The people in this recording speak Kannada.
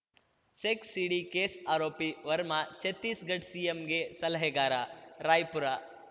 ಸೆಕ್ಸ್‌ ಸಿಡಿ ಕೇಸ್‌ ಆರೋಪಿ ವರ್ಮಾ ಛತ್ತೀಸ್‌ಗಡ್ ಸಿಎಂಗೆ ಸಲಹೆಗಾರ ರಾಯ್‌ಪುರ